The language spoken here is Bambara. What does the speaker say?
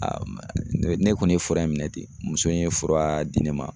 ne ne kɔni ye fura in minɛ ten. Muso in ye fura di ne ma